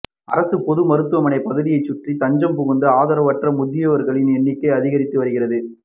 அரசு பொது மருத்துவமனை பகுதியை சுற்றி தஞ்சம் புகும் ஆதரவற்ற முதியோர்களின் எண்ணிக்கை அதிகரித்து வருகிறது